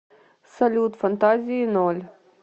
салют фантазии ноль